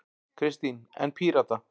Kristín: En Pírata?